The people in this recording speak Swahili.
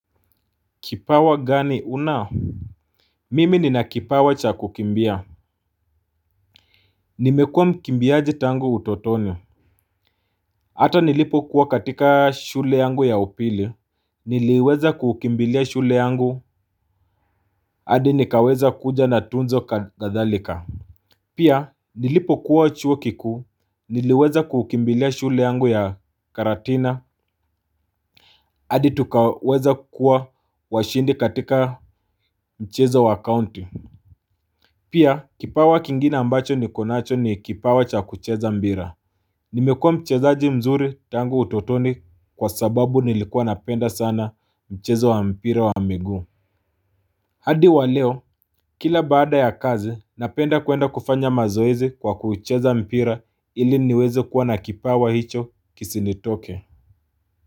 Kipawa gani una? Mimi nina kipawa cha kukimbia. Nimekuwa mkimbiaji tangu utotoni. Hata nilipo kuwa katika shule yangu ya upili niliweza kukimbilia shule yangu adi nikaweza kuja na tunzo kadhalika. Pia nilipo kuwa chuo kikuu niliweza kukimbilia shule yangu ya karatina adi tukaweza kuwa washindi katika mchezo wa kaunti. Pia, kipawa kingine ambacho niko nacho ni kipawa cha kucheza mbira. Nimekuwa mchezaji mzuri tangu utotoni kwa sababu nilikuwa napenda sana mchezo wa mpira wa miguu. Hadi wa leo, kila baada ya kazi, napenda kuenda kufanya mazoezi kwa kucheza mpira ili niweze kuwa na kipawa hicho kisinitoke.